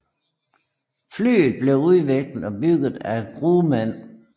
Flyet blev udviklet og bygget af Grumman